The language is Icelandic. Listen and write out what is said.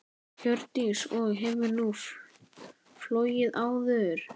Hjördís: Og hefur hún flogið áður?